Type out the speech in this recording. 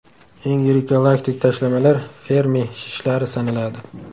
Eng yirik galaktik tashlamalar Fermi shishlari sanaladi.